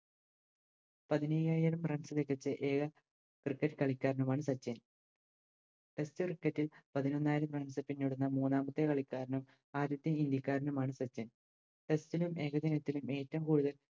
പതിനയ്യായിരം Runs വെച്ചിറ്റ് A M Cricket കളിക്കാരനുമാണ് സച്ചിൻ Test cricket ഇൽ പതിനൊന്നായിരം Runs പിന്നിടുന്ന മൂന്നാമത്തെ കളിക്കാരനും ആദ്യത്തെ ഇന്ത്യക്കാരനുമാണ് സച്ചിൻ Test നും ഏകദിനത്തിനും ഏറ്റോം കൂടുതൽ